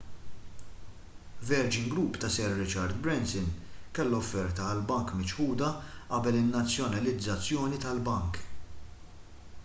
virgin group ta' sir richard branson kellha offerta għall-bank miċħuda qabel in-nazzjonalizzazzjoni tal-bank